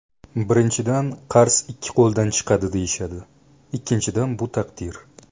Birinchidan, ‘qars ikki qo‘ldan chiqadi’, deyishadi, ikkinchidan, bu taqdir.